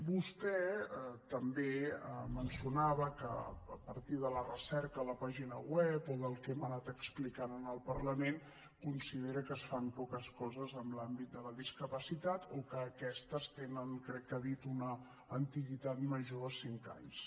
vostè també mencionava que a partir de la recerca a la pàgina web o del que hem anat explicant en el parlament considera que es fan poques coses en l’àmbit de la discapacitat o que aquestes tenen crec que ha dit una antiguitat major a cinc anys